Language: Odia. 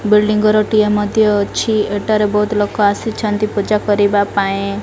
ବୁଇଲ୍ଡିଙ୍ଗ ଘରଟିଏ ମଧ୍ୟ ଅଛି ଏଠାରେ ବୋହୁତ ଲୋକ ଆସିଛନ୍ତି ପୂଜା କରିବା ପାଇଁ।